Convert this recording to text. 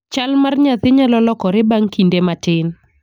Chal mar nyathi nyalo lokore bang' kinde matin.